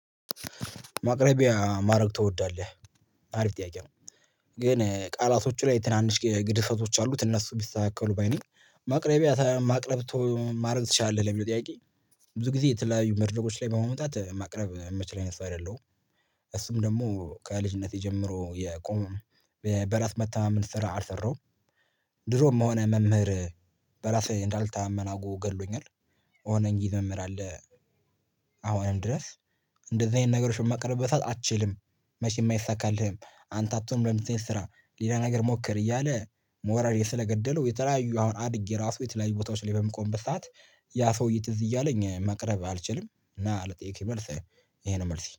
ማቅረቢያ ማረግ ትወዳለህ? አሪፍ ጥያቄ ነው። ግን ቃላቶቹ ላይ ትናንሽ ግድፈቶች አሉት እነሱ ቢስተካከሉ ባይ ነኝ። ማቅረብ ማረግ ትችላለህ የሚለው ጥያቄ። ብዙ ጊዜ የተለያዩ መድርከች ላይ በመምጣት ማቅረብ እሚችል አይነት ሰው አይደለሁም። እሱም ደግሞ ከልጅነቴ ጀምሮ የቆመ በራስ መታመን ስራ አልሰራም። ድሮም ሆነ መምህር በራሴ እንዳልተነማን አርጎ ገሎኛል። የሆነ እንግሊዝ መምህር አለ። አሁንም ድረስ እንደዚህ አይነት ነገሮችን መቅረብ አትችልም። መቼም አይሳካልህም አንተ አትሆንም ለ እንደዚህ አይበት ስራ ሌላ ነገር ሞክር እያለ ሞራሌን ስለገደለው። የተለያየ አሁን አድጌ ራሱ የተለያየ ቦታዎች ላይ በምቆምበት ሰዓት ያ ሰውዬ ትዝ እያለኝ መቅረብ አልችልም እና ለጠየከኝ መልስ። ይሄ ነው መልሴ